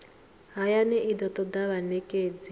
hayani i do toda vhanekedzi